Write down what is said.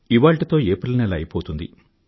ఇవాళ్టితో April నెల అయిపోతుంది